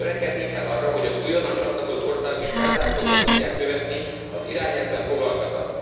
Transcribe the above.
Törekednünk kell arra, hogy az újonnan csatlakozott országok is felzárkózva tudják követni az irányelvben foglaltakat.